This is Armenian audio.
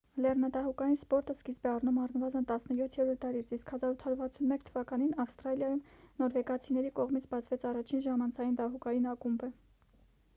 լեռնադահուկային սպորտը սկիզբ է առնում առնվազն 17-րդ դարից իսկ 1861 թ ավստրալիայում նորվեգացիների կողմից բացվեց առաջին ժամանցային դահուկային ակումբը